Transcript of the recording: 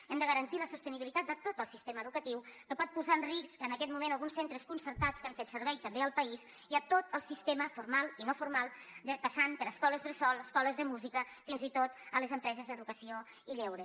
hem de garantir la sostenibilitat de tot el sistema educatiu que pot posar en risc en aquest moment alguns centres concertats que han fet servei també al país i tot el sistema formal i no formal passant per escoles bressol escoles de música fins i tot les empreses d’educació i lleure